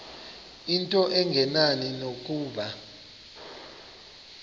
into engenani nokuba